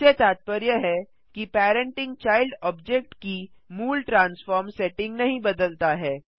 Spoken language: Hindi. इससे तात्पर्य है कि पेरेन्टिंग चाइल्ड ऑब्जेक्ट की मूल ट्रांस्फार्म सेटिंग नहीं बदलता है